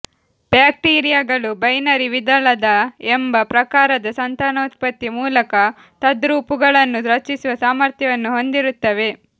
ಬ್ಯಾಕ್ಟೀರಿಯಾಗಳು ಬೈನರಿ ವಿದಳನ ಎಂಬ ಪ್ರಕಾರದ ಸಂತಾನೋತ್ಪತ್ತಿ ಮೂಲಕ ತದ್ರೂಪುಗಳನ್ನು ರಚಿಸುವ ಸಾಮರ್ಥ್ಯವನ್ನು ಹೊಂದಿರುತ್ತವೆ